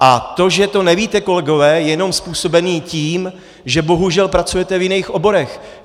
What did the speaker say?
A to, že to nevíte, kolegové, je jenom způsobeno tím, že bohužel pracujete v jiných oborech.